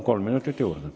Palun, kolm minutit juurde!